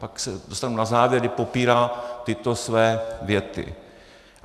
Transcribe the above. Pak se dostanu na závěr, kdy popírá tyto své věty.